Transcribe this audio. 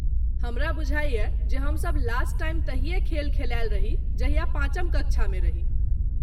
हमरा बुझाइये जे हम सभ लास्ट टाइम तहिये खेल खेलायल रही जहिया पाँचम कक्षा मे रही।